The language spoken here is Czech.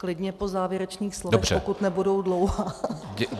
Klidně po závěrečných slovech, pokud nebudou dlouhá.